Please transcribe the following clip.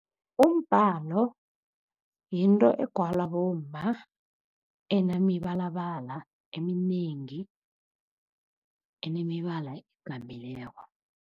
Umbhalo yinto egwalwa bomma, enemibalabala eminengi, enemibala .